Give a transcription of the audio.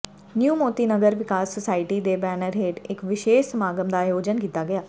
new Moti Nagar ਵਿਕਾਸ society ਦੇ banner ਹੇਠ ਇਕ ਵਿਸ਼ੇਸ਼ ਸਮਾਗਮ ਦਾ ਆਯੋਜਨ ਕੀਤਾ ਗਿਆ